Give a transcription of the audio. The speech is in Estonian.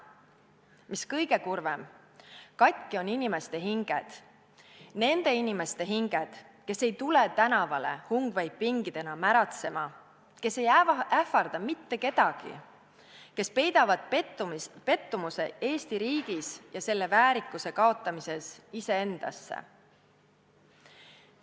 Mis kõige kurvem, katki on inimeste hinged, nende inimeste hinged, kes ei tule tänavale hungveipingidena märatsema, kes ei ähvarda mitte kedagi, kes peidavad pettumuse Eesti riigis ja selle väärikuse kaotamises iseendasse.